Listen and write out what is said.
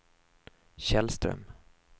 Källström